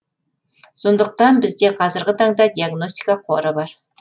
сондықтан бізде қазіргі таңда диагностика қоры бар